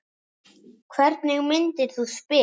Hvernig myndir þú spila?